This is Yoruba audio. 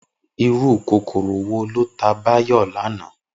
Irú kòkòrò wo ló ta Báyò lánàá?